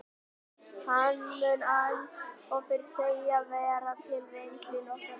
Hann mun eins og fyrr segir vera til reynslu í nokkra daga.